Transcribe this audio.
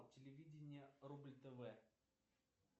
телевидение рубль тв